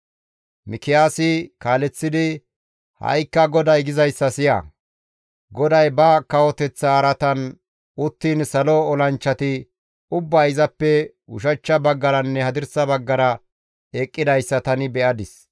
Mikiyaasi kaaleththidi, «Ha7ikka GODAY gizayssa siya! GODAY ba kawoteththa araatan uttiin salo olanchchati ubbay izappe ushachcha baggaranne hadirsa baggara eqqidayssa tani be7adis.